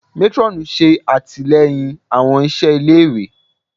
Matron ṣe atilẹyin awọn iṣẹ ile-iwe